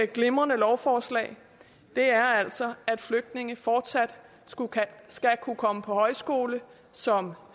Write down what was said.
glimrende lovforslag er altså at flygtninge fortsat skal kunne komme på højskole som